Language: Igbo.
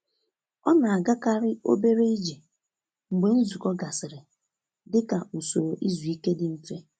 Ọ na-agakarị obere ije mgbe nzukọ gasịrị dị ka usoro izu ike dị mfe.